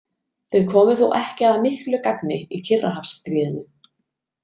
Þau komu þó ekki að miklu gagni í Kyrrahafsstríðinu.